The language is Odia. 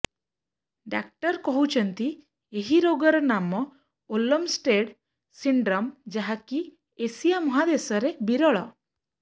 ଡାକ୍ତର କହୁଛନ୍ତି ଏହି ରୋଗର ନାମ ଓଲମଷ୍ଟେଡ୍ ସିଣ୍ଡ୍ରମ ଯାହାକି ଏସିଆ ମହାଦେଶରେ ବିରଳ